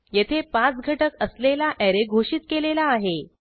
येथे पाच घटक असलेला ऍरे घोषित केलेला आहे